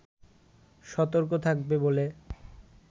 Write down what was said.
সতর্ক থাকবে বলে